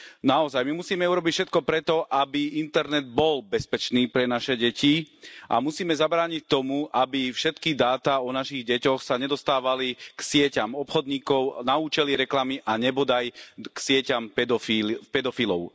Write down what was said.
Naozaj, my musíme urobiť všetko preto, aby internet bol bezpečný pre naše deti a musíme zabrániť tomu, aby všetky dáta o našich deťoch sa nedostávali k sieťam obchodníkov, na účely reklamy a nebodaj k sieťam pedofilov.